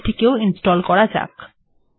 তাহলে এটিকেও ইনস্টল্ করা যাক